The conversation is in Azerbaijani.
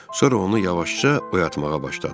Sonra onu yavaşca oyatmağa başladıq.